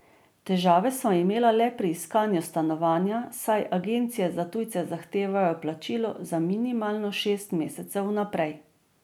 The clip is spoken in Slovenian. Težave sva imela le pri iskanju stanovanja, saj agencije za tujce zahtevajo plačilo za minimalno šest mesecev vnaprej.